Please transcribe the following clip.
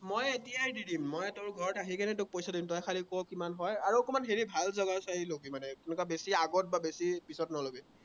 মই এতিয়াই দি দিম, মই তোৰ ঘৰত আহিকেনে তোক পইচাটো দি দিম, তই খালি ক কিমান হয়, আৰু অকণমান হেৰি ভাল জেগা চাই লবি মানে, তেনেকুৱা বেছি আগত বা বেছি পিছত নলবি।